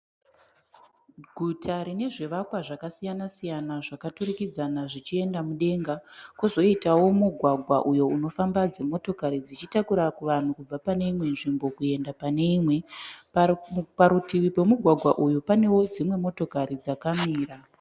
Guta rine zvivakwa zvakasiyanasiyana zvakaturikidzana zvichienda mudenga, kwozoitawo mugwagwa uyo unofamba dzimotokari dzichitakura kuvanhu kubva pane imwe nzvimbo kuenda pane imwe. Parutivi pemugwagwa uyu panewo dzimwe motokari dzakamira.